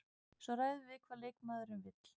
Svo ræðum við hvað leikmaðurinn vill.